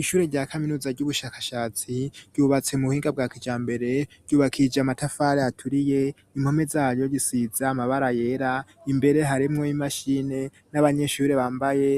Ishure rya kaminuza ry'ubushakashatsi ryubatse mu buhinga bwa kijambere, ryubakije amatafari aturiye, impome zazo zisize amabara yera. Imbere harimwo y'imashini n'abanyeshuri bambaye